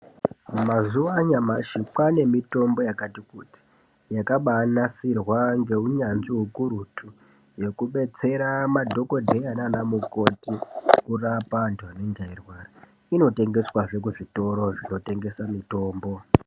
Mazuwa anyamashi, kwane mitombo yakati kuti, yakabaanasirwa ngeunyanzvi ukurutu, yekubetsera madhokodheya nanamukoti kurapa antu anenge eirwara. Inotengeswazve muzvikoro, zvinotengesa mitombo.